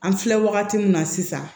An filɛ wagati min na sisan